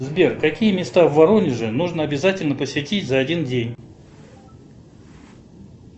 сбер какие места в воронеже нужно обязательно посетить за один день